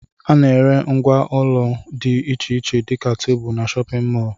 Ana ere ngwá ụlọ dị iche iche dika tebụl n'shóppin mol.